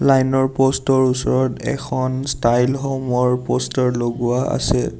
Line ৰ post ৰ ওচৰত এখন ষ্টাইল হ'ম ৰ প'ষ্টাৰ লগোৱা আছে।